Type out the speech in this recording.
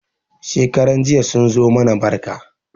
Shekaran jiya sun zo mana barka.